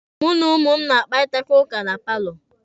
Mụ na ụmụ m na-akparịta ụka na paalọ.